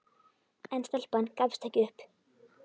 En stelpan gafst ekki upp.